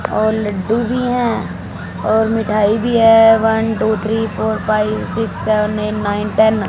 और लड्डू भी हैं और मिठाई भी है one two three four five six seven eight nine ten.